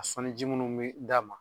A sɔnni ji mnnu be d'a ma